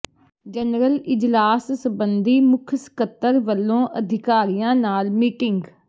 general ਇਜਲਾਸ ਸਬੰਧੀ ਮੁੱਖ ਸਕੱਤਰ ਵੱਲੋਂ ਅਧਿਕਾਰੀਆਂ ਨਾਲ ਮੀਟਿੰਗ